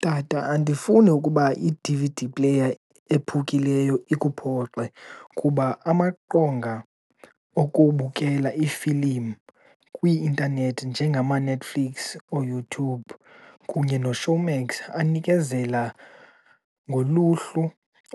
Tata, andifuni ukuba i-D_V_D player ephukileyo ikuphoxe kuba amaqonga okubukela iifilimu kwi-intanethi njengamaNetflix, ooYouTube kunye noShowmax anikezela ngoluhlu